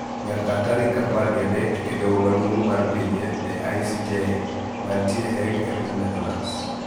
Nyaka tarik apar gi adek e doho maduong` mar pinje the ICJ mantie Hague e piny Netherlands